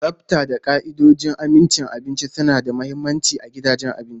Tsafta da ka'idojin amincin abinci suna da mahimmanci ga gidajen abinci.